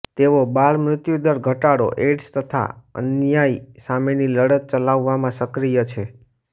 તેઓ બાળ મૃત્યુદર ઘટાડો એઇડ્સ તથા અન્યાય સામેની લડત ચલાવવામાં સક્રિય છે